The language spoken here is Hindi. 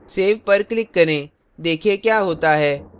save पर click करें देखें क्या होता है